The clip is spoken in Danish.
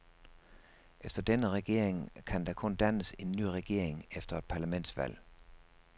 Efter denne regeringen kan der kun dannes en ny regering efter et parlamentsvalg.